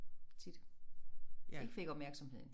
Tit ikke fik opmærksomheden